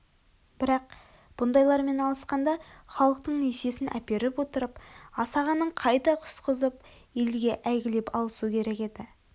бірақ бұндайлармен алысқанда халықтың есесін әперіп отырып асағанын қайта құсқызып елге әйгілеп алысу керек еді